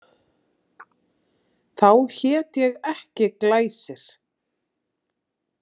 Þá hét ég ekki Glæsir.